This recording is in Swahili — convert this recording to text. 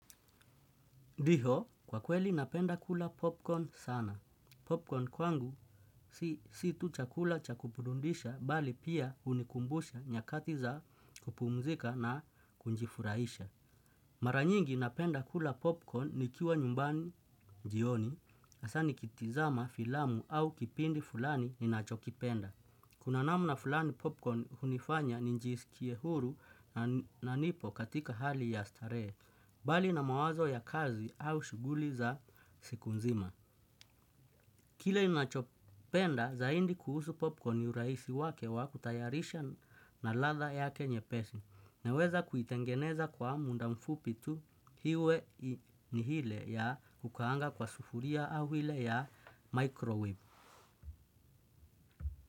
Dio, kwa kweli napenda kula popcorn sana. Popcorn kwangu si tu chakula chaku burudisha, mbali pia unikumbusha nyakati za kupumzika na kunjifurahisha. Maranyingi napenda kula popcorn ni kiwa nyumbani jioni, hasaa nikitizama filamu au kipindi fulani ni nacho kipenda. Kuna namna fulani popcorn hunifanya nijisikie huru na nipo katika hali ya starehe, mbali na mawazo ya kazi au shughuli za siku nzima. Kile nachopenda zaidi kuhusu popcorn urahisi wake wa kutayarisha na ladha yake nyepesi, naweza kuitengeneza kwa muda mfupi tu iwe ni hile ya kukaanga kwa sufulia au hile ya microwave.